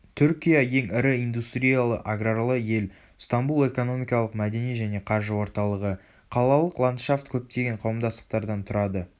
түркия ең ірі индустриялы-аграрлы ел стамбул экономикалық мәдени және қаржы орталығы.қалалық ландшафт көптеген қауымдастықтардан тұрады